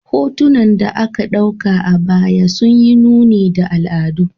Hotunan da aka dauka a baya sun yi nuni da al'adu.